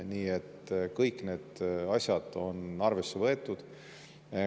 Nii et kõik need asjad on arvesse võetud.